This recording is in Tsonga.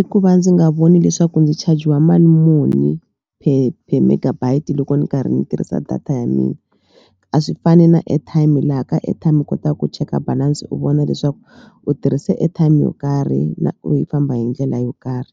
I ku va ndzi nga voni leswaku ndzi chajiwa mali muni per per megabyte loko ni karhi ni tirhisa data ya mina a swi fani na airtime laha ka airtime u kotaku ku cheka balance u vona leswaku u tirhise airtime yo karhi na ku famba hi ndlela yo karhi